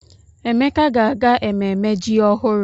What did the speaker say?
Emeka ga-aga ememme ji ọhụrụ.